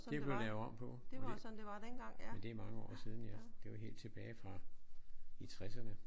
Det er blevet lavet om på. Og det ja men det er mange år siden ja. Det er jo helt tilbage fra i tresserne